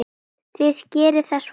Þið gerið það svo vel.